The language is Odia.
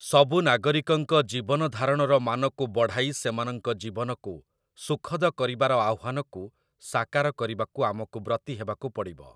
ସବୁ ନାଗରିକଙ୍କ ଜୀବନଧାରଣର ମାନକୁୁ ବଢ଼ାଇ ସେମାନଙ୍କ ଜୀବନକୁ ସୁଖଦ କରିବାର ଆହ୍ୱାନକୁ ସାକାର କରିବାକୁ ଆମକୁ ବ୍ରତୀ ହେବାକୁ ପଡ଼ିବ ।